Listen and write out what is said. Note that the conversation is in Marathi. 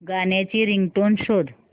गाण्याची रिंगटोन शोध